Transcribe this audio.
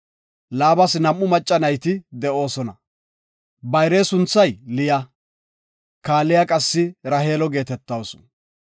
Laabas nam7u macca nayti de7oosona. Bayre sunthay Liya, kaaliya qassi Raheelo geetetawusu.